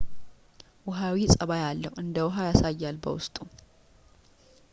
ውሃዊ ጸባይ አለው እንደውሃ ያሳያል በውስጡ